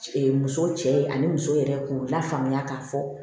musow cɛ ani muso yɛrɛ k'u lafaamuya k'a fɔ